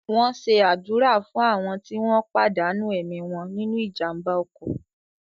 Wón ṣe àdúrà fún àwọn tí wọ́n pàdánù ẹ̀mí wọn nínu ìjàmbá ọkọ̀